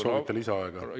Kas soovite lisaaega?